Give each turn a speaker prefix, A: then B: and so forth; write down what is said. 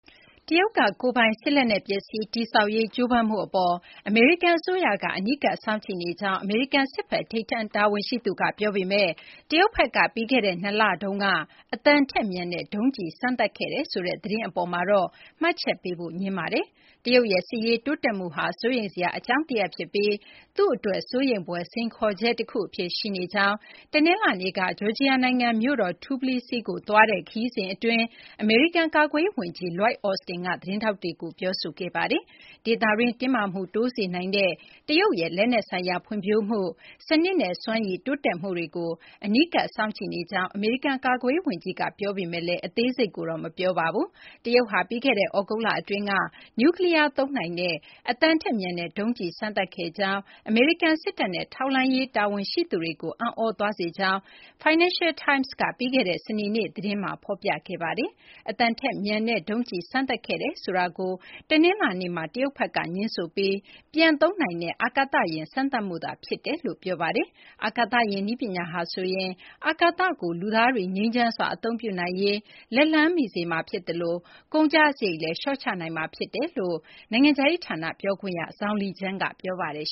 A: တရုတ်က ကိုယ်ပိုင် စစ်လက်နက် ပစ္စည်း တည်ဆောက်ရေး ကြိုးပမ်းမှု အပေါ် အမေရိကန် အစိုးရက အနီးကပ် စောင့်ကြည့်နေကြောင်း အမေရိကန် စစ်ဘက် ထိပ်တန်း တာဝန်ရှိသူက ပြောပေမယ့် တရုတ်ဘက်က ပြီးခဲ့တဲ့ ၂ လတုန်းက အသံထက် မြန်တဲ့ ဒုံးကျည် စမ်းသပ်ခဲ့တယ်ဆိုတဲ့ သတင်း အပေါ်မှာတော့ မှတ်ချက်ပေးဖို့ ငြင်းဆိုပါတယ်။ တရုတ်ရဲ့ စစ်ရေး တိုးတက်မှုဟာ စိုးရိမ်စရာ အကြောင်းတရပ် ဖြစ်ပြီး သူ့အတွက် စိုးရိမ်ဖွယ် စိန်ခေါ်ချက် တခု အဖြစ် ရှိနေကြောင်း တနလာၤနေ့က ဂျော်ဂျီယာ နိုင်ငံမြို့တော်Tblisi ကိုသွားတဲ့ ခရီးစဉ် အတွင်း အမေရိကန် ကာကွယ်ရေး ဝန်ကြီး Lloyd Austin က သတင်းထောက်တွေကို ပြောဆိုခဲ့တာပါ။ ဒေသတွင်း တင်းမာမှု တိုးစေနိုင်တဲ့ တရုတ်ရဲ့ လက်နက် ဆိုင်ရာဖွံ့ဖြိုးမှု၊ စနစ်နဲ့ စွမ်းရည် တိုးတက်မှုတွေကို အနီးကပ် စောင့်ကြည့်နေကြောင်း အမေရိကန် ကာကွယ်ရေး ဝန်ကြီးက ပြောပေမယ့်လည်း အသေးစိတ်ကိုတော့ မပြောပါဘူး။ တရုတ်ဟာ ပြီးခဲ့တဲ့ သြဂုတ်လ အတွင်းက နျူးကလီးယား သုံးနိုင်တဲ့ အသံထက်မြန်တဲ့ ဒုံးကျည် စမ်းသပ်ခဲ့ကြောင်း၊ အမေရိကန် စစ်တပ်နဲ့ ထောက်လှမ်းရေး တာဝန်ရှိသူတွေကို အံ့သြသွားစေကြောင်း Financial Times က ပြီးခဲ့တဲ့ စနေနေ့က သတင်းဖော်ပြခဲ့တာပါ။ အသံထက်မြန်တဲ့ ဒုံးကျည် စမ်းသပ်ခဲ့တယ်ဆိုတာကို တနလာၤနေ့မှာ တရုတ်ဘက်က ငြင်းဆိုပြီး ပြန်လည် အသုံးပြုနိုင်တဲ့ အာကသယာဉ် စမ်းသပ်မှုသာ ဖြစ်တယ်လို့ ပြောပါတယ်။ အာကာသယာဉ် နည်းပညာဟာဆိုရင် အာကာသကို လူသားတွေ ငြိမ်းချမ်းစွာ အသုံးပြုနိုင်ရေး လက်လှမ်းမီစေမှာ ဖြစ်သလို ကုန်ကျစာရိတ်လည်း လျှော့ချနိုင်မှာ ဖြစ်ကြောင်း နိုင်ငံခြားရေး ဌာန ပြောခွင့်ရ Zhao Lijian က ပြောပါတယ်